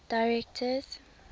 directors